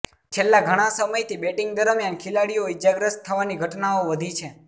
છેલ્લા ઘણા સમયથી બેટિંગ દરમિયાન ખેલાડીઓ ઈજાગ્રસ્ત થવાની ઘટનાઓ વધી છે